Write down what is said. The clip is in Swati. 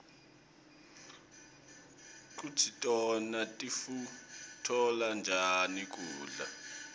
kutsi tona tikutfola njani kubla